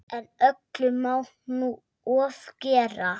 En öllu má nú ofgera.